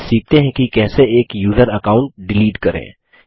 अब सीखते हैं कि कैसे एक यूज़र अकाउंट डिलीट करें